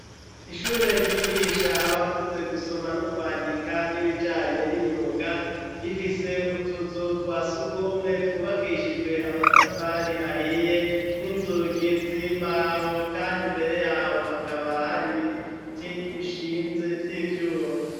Ishure ryigisha abakuze gusoma n' ukwandika n'ibijanye n'imyuga, rifise utuzu twa sugumwe twubakishijwe amatafari ahiye n'inzugi z'imbaho kandi mbere yaho hakaba hari biti bishinze vy'ivyuma.